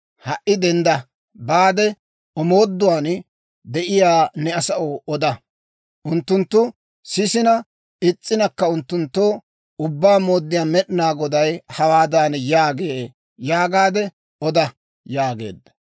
Ha"i dendda baade, omooduwaan de'iyaa ne asaw oda. Unttunttu sisina is's'inakka unttunttoo, ‹Ubbaa Mooddiyaa Med'inaa Goday hawaadan yaagee› yaagaade oda» yaageedda.